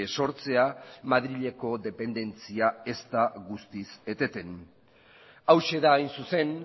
sortzea madrileko dependentzia ez da guztiz eteten hauxe da hain zuzen